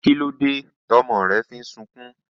Kílódé tọ́mọ rẹ fi ń sunkún?